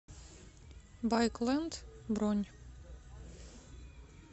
байк ленд бронь